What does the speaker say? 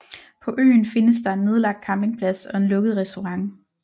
På øen findes der en nedlagt campingplads og en lukket restaurant